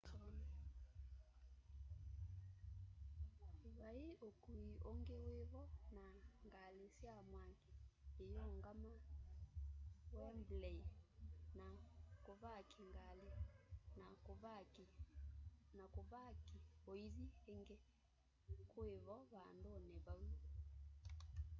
vai ukui ungi wivo na ngali sya mwaki iyungama wembley na kuvaki ngali na kuvaki uithi ingi kuivo vanduni vau